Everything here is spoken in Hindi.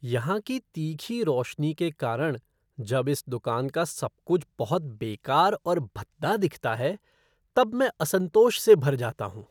यहाँ की तीखी रोशनी के कारण जब इस दुकान का सब कुछ बहुत बेकार और भद्दा दिखता है तब मैं असंतोष से भर जाता हूँ।